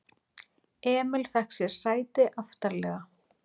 Emil fékk sér sæti aftarlega.